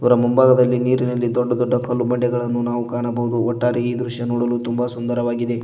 ರ ಮುಂಭಾಗದಲ್ಲಿ ನೀರಿನಲ್ಲಿ ದೊಡ್ಡ ದೊಡ್ಡ ಕಲ್ಲು ಬಂಡೆಗಳನ್ನು ನಾವು ಕಾಣಬಹುದು ಒಟ್ಟಾರೆ ಈ ದೃಶ್ಯ ನೋಡಲು ತುಂಬ ಸುಂದರವಾಗಿದೆ.